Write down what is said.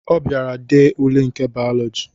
Ọ bịara dee ule nke Bayọlọji